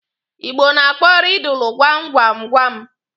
Igbo na-akpọ rịdụlụ gwam gwam gwam.